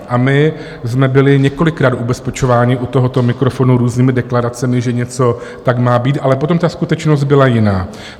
A my jsme byli několikrát ubezpečováni u tohoto mikrofonu různými deklaracemi, že něco tak má být, ale potom ta skutečnost byla jiná.